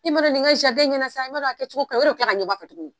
E m'a dɔn nin ŋa ɲɛna sa i m'a dɔn a kɛcogo ka o yɛrɛ bɛ tila ka ɲɛbɔ a fɛ tuguni.